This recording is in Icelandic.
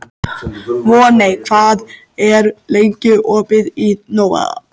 Voney, hvað er lengi opið í Nova?